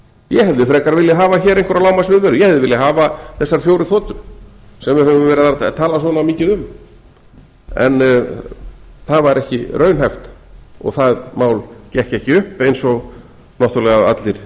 ég hefði frekar viljað hafa hér einhverja lágmarksviðveru ég hefði viljað hafa þessar fjórar þotur sem við höfum verið að tala svona mikið um en það var ekki raunhæft og það mál gekk ekki upp eins og náttúrulega allir